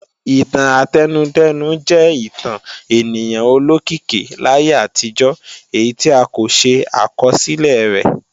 Ìtàn átẹnudẹ́nu jẹ́ ìtàn ènìyàn olókìkí láyé àtijọ́ èyí tí a kò ṣe àkọsílẹ̀ rẹ̀